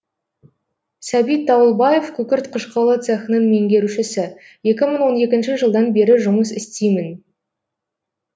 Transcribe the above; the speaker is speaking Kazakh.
сәбит дауылбаев күкірт қышқылы цехының меңгерушісі екі мың он екінші жылдан бері жұмыс істеймін